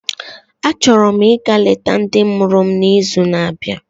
Achọrọ m ịga leta ndị mụrụ m n'izu na-abịa